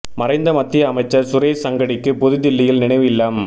மறைந்த மத்திய அமைச்சா் சுரேஷ் அங்கடிக்கு புது தில்லியில் நினைவு இல்லம்